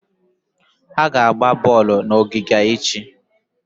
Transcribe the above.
Ha ga-agba bọọlụ n'ogige echi.